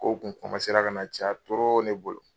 Kow ka na caya ne bolo.